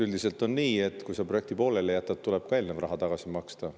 Üldiselt on nii, et kui sa projekti pooleli jätad, tuleb ka eelnevalt saadud raha tagasi maksta.